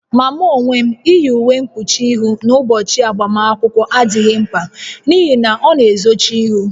Ma mụ onwe m, iyi uwe mkpuchi ihụ n'ụbọchị agbamakwụkwọ adịghị mkpa n'ihi na ọ na-ezochi ihu